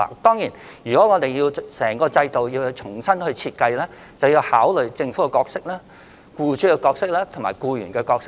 當然，如要重新設計整個制度，就要考慮和討論政府、僱主和僱員的角色。